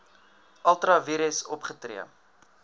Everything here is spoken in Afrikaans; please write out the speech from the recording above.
ultra vires opgetree